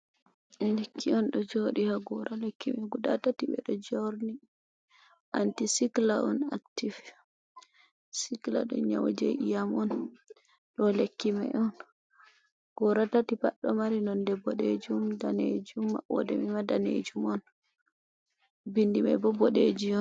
Lekki on do jodi ha gura lekkimai guda tati bedo jorni antisikla on actif sikla do nyauje iyam on do lekki mai on, gura tati baddo mari nonde bodejum danejum maoema danejum on bindimai bo bodejum.